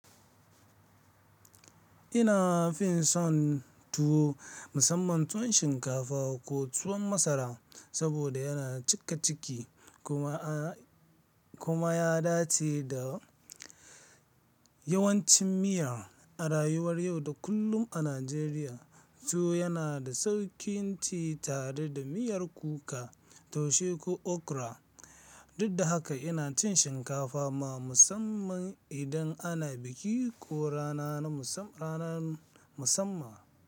Ina fi son tuwo, musamman tuwon shinkafa ko tuwon masara saboda yana cikaciki kuma ya dace da yawancin miya a rayuwar yau da kullum a Najeriya. Tuwo yana da sauƙin ci tare da miyar kuka, taushe ko okra, duk da haka ina cin shinkafa ma musamman idan ana biki ko rana na musamman.